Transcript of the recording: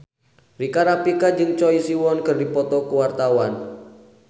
Rika Rafika jeung Choi Siwon keur dipoto ku wartawan